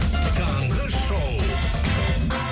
таңғы шоу